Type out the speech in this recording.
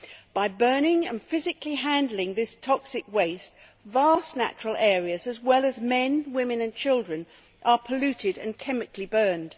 Through the burning and physical handling of this toxic waste, vast natural areas, as well as men, women and children, are polluted and chemically burned.